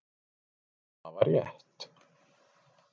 Hafa rétt